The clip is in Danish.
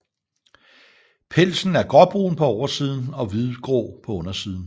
Pelsen er gråbrun på oversiden og hvidgrå på undersiden